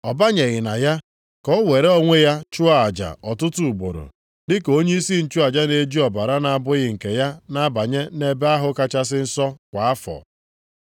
Ọ banyeghị na ya ka o were onwe ya chụọ aja ọtụtụ ugboro, dị ka onyeisi nchụaja na-eji ọbara na-abụghị nke ya na-abanye nʼEbe ahụ Kachasị Nsọ kwa afọ.